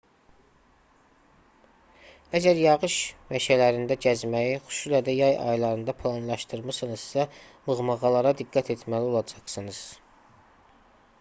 əgər yağış meşələrində gəzməyi xüsusilə də yay aylarında planlaşdırmısınızsa mığmığılara diqqət etməli olacaqsınız